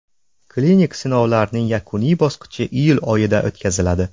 Klinik sinovlarning yakuniy bosqichi iyul oyida o‘tkaziladi.